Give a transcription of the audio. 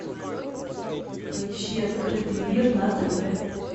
поищи открытый мир на тв